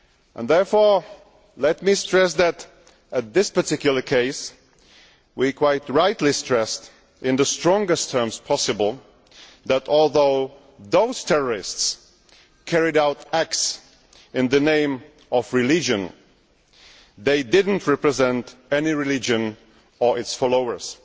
In that particular case we quite rightly stressed, in the strongest terms possible, that although those terrorists carried out acts in the name of religion, they did not represent any religion or its followers.